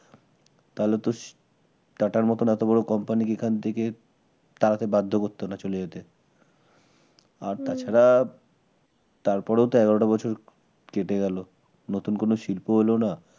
তাহলে তো টাটার মতন এত বড় কোম্পানিকে এখান থেকে তাড়াতে বাধ্য করত না চলে যেত। হম আর তাছাড়া তারপরও তো এগারোটা বছর কেটে গেল নতুন কোন শিল্পও এলোনা